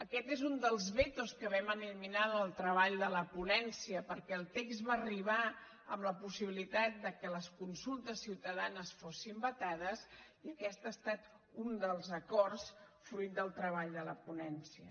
aquest és un dels vetos que vam eliminar en el treball de la ponència perquè el text va arribar amb la possibilitat que les consultes ciutadanes fossin vetades i aquest ha estat un dels acords fruit del treball de la ponència